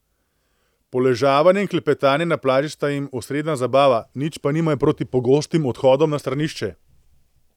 Poležavanje in klepetanje na plaži sta jim osrednja zabava, nič pa nimajo proti pogostim odhodom na stranišče.